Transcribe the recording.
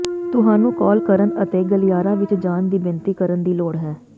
ਤੁਹਾਨੂੰ ਕਾਲ ਕਰਨ ਅਤੇ ਗਲਿਆਰਾ ਵਿੱਚ ਜਾਣ ਦੀ ਬੇਨਤੀ ਕਰਨ ਦੀ ਲੋੜ ਹੈ